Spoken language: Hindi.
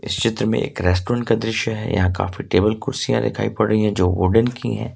चित्र में एक रेस्टोरेंट का दृश्य है यहां काफी टेबल कुर्सियां दिखाई पड़ रही हैं जो वुडन की हैं।